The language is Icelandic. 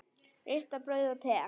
Ristað brauð og te.